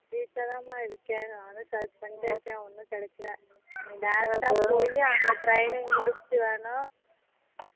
வீட்டுல தான் மா இருக்கேன் நானும் search பண்ணிட்டே இருக்கேன் ஒண்ணும் கெடைக்கல direct ஆ போய் அங்க training முடிச்சிட்டு வேணா